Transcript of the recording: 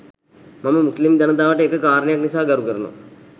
මම මුස්ලිම් ජනතාවට එක කාරණයක් නිසා ගරු කරනවා.